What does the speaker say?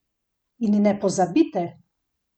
In ne pozabite!